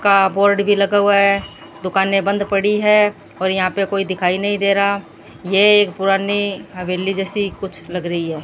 का बोर्ड भी लगा हुआ है दुकाने बंद पड़ी है और यहां पे कोई दिखाई नहीं दे रहा ये पुरानी हवेली जैसी कुछ लग रही है।